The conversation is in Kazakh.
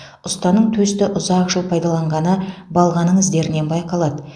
ұстаның төсті ұзақ жыл пайдаланғаны балғаның іздерінен байқалады